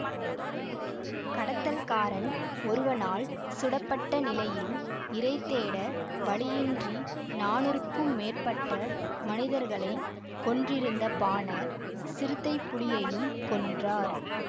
கடத்தல்காரன் ஒருவனால் சுடப்பட்ட நிலையில் இரைதேட வழியின்றி நானூறுக்கும் மேற்பட்ட மனிதர்களை கொன்றிருந்த பானார் சிறுத்தைப்புலியையும் கொன்றார்